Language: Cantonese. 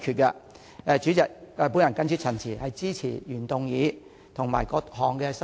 代理主席，我謹此陳辭，支持原議案及各項修正案。